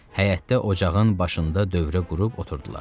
Həyətdə ocağın başında dövrə qurub oturdular.